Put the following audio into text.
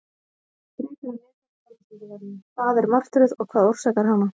Frekara lesefni á Vísindavefnum: Hvað er martröð og hvað orsakar hana?